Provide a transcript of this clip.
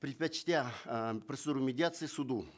предпочтя э процедуру медиации суду